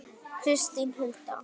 Kristín Hulda.